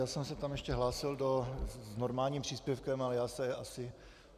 Já jsem se tam ještě hlásil s normálním příspěvkem, ale já se asi...